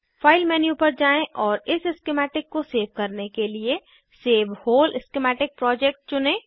file menu पर जाएँ और इस स्किमैटिक को सेव करने के लिए सेव व्होल स्कीमेटिक प्रोजेक्ट चुनें